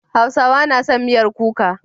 Hausawa na son miyar kuka.